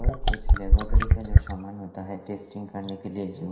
कुछ लेब्रोटरी का जो शामान होता है टेस्टिंग करने के लिए जो--